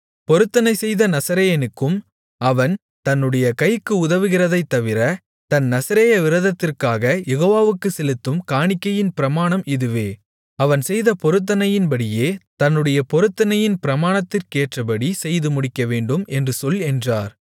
பொருத்தனைசெய்த நசரேயனுக்கும் அவன் தன்னுடைய கைக்கு உதவுகிறதைத்தவிர தன் நசரேய விரதத்திற்காக யெகோவாவுக்குச் செலுத்தும் காணிக்கையின் பிரமாணம் இதுவே அவன் செய்த பொருத்தனையின்படியே தன்னுடைய பொருத்தனையின் பிரமாணத்துக்கேற்றபடி செய்து முடிக்கவேண்டும் என்று சொல் என்றார்